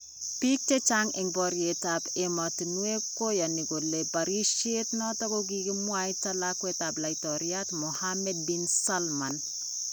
Biik chechang en bororyeetab emotunweek koyani kole barisyeet noton kokimwayta lakweetab laitoriat Mohammed bin Salman